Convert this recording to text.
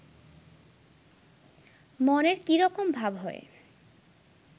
মনের কিরকম ভাব হয়